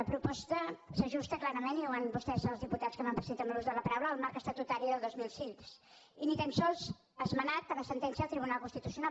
la proposta s’ajusta clarament i ho han vist vostès els diputats que m’han precedit en l’ús de la paraula al marc estatutari del dos mil sis i ni tan sols esmenat per la sentència del tribunal constitucional